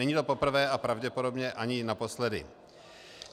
Není to poprvé a pravděpodobně ani naposledy.